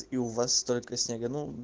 и у вас столько снега ну